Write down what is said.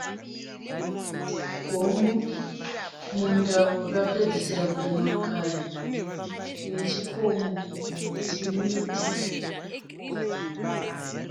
Gombo munda wakapedzesera kurimwa kare nechikomo chine miti.